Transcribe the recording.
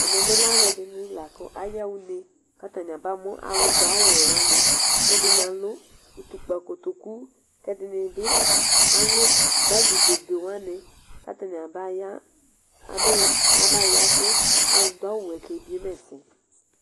Ɛmɛbi alʋɛdin lakʋ ayaxa une kʋ atani aba mʋ alʋ du awʋwɛ wani kʋ ɛdini alʋ utukpa kotokʋ kʋ ɛdini bi alʋ bagi be be be wani kʋ atani abaya kʋ alʋdʋ awʋwɛɛ ke biema ɛsɛ